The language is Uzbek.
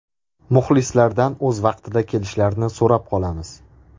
Muxlislardan o‘z vaqtida kelishlarini so‘rab qolamiz.